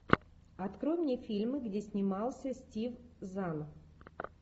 открой мне фильмы где снимался стив зан